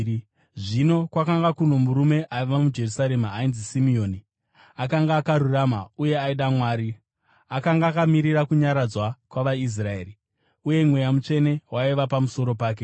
Zvino kwakanga kuno murume aiva muJerusarema ainzi Simeoni, akanga akarurama uye aida Mwari. Akanga akamirira kunyaradzwa kwavaIsraeri, uye Mweya Mutsvene waiva pamusoro pake.